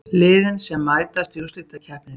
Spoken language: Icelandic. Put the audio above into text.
Liðin sem mætast í úrslitakeppninni